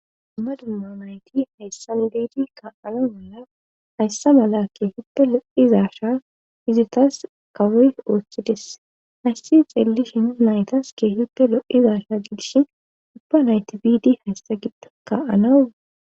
Ama dumma nayti hayssan giedi ka,ana mala hayssa mala keehippe lo,izasha izitas kawoy oochchides hayssi xeellishin naytas keehippe lo,izasha gilshin ubba nayti bidi hayssa giddo ka,anau.